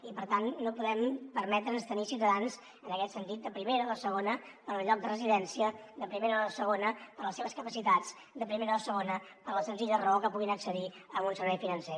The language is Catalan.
i per tant no podem permetre’ns tenir ciutadans en aquest sentit de primera o de segona pel lloc de residència de primera o de segona per les seves capacitats de primera o de segona per la senzilla raó que puguin accedir a un servei financer